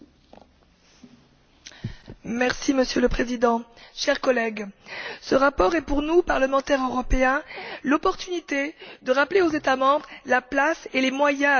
Monsieur le Président, chers collègues, ce rapport est pour nous, parlementaires européens, l'occasion de rappeler aux États membres la place et les moyens donnés à l'éducation et à la formation en Europe.